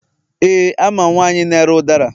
Éè, amam nwanyi na-ere ụdara.